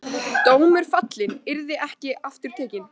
Dómur fallinn, yrði ekki aftur tekinn.